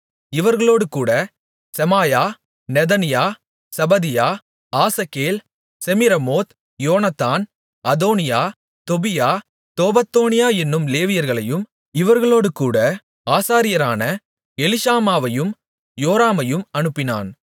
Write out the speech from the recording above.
இவர்களோடுகூட Shemaiah Nethaniah Zebadiah Asahel Shemiramoth Jehonathan Adonijah Tobijah Tobadonijah என்னும் லேவியர்களையும் இவர்களோடுகூட ஆசாரியரான எலிஷாமாவையும் யோராமையும் அனுப்பினான்